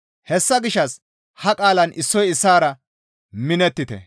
Hessa gishshas ha qaalaan issoy issaara minettite.